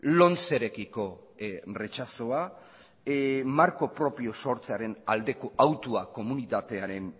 lomcerekiko retxazoa marko propioa sortzearen aldeko autua komunitatearen